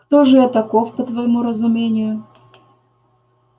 кто же я таков по твоему разумению